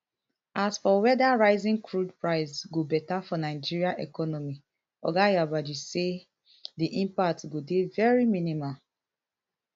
as for weda rising crude price go beta for nigeria economy oga yabagi say di impact go dey very minimal